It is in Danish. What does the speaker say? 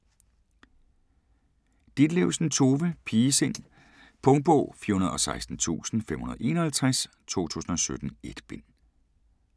Ditlevsen, Tove: Pigesind Punktbog 416551 2017. 1 bind.